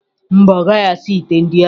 Mba, ọ naghị asa ite ndị ahụ.